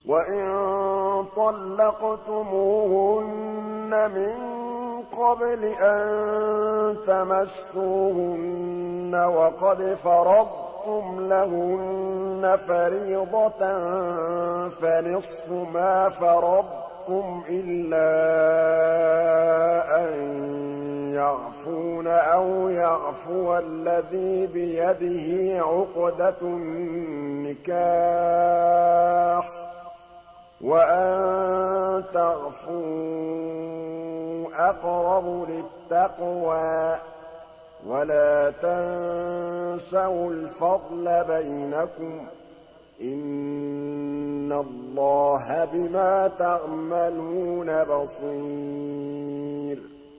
وَإِن طَلَّقْتُمُوهُنَّ مِن قَبْلِ أَن تَمَسُّوهُنَّ وَقَدْ فَرَضْتُمْ لَهُنَّ فَرِيضَةً فَنِصْفُ مَا فَرَضْتُمْ إِلَّا أَن يَعْفُونَ أَوْ يَعْفُوَ الَّذِي بِيَدِهِ عُقْدَةُ النِّكَاحِ ۚ وَأَن تَعْفُوا أَقْرَبُ لِلتَّقْوَىٰ ۚ وَلَا تَنسَوُا الْفَضْلَ بَيْنَكُمْ ۚ إِنَّ اللَّهَ بِمَا تَعْمَلُونَ بَصِيرٌ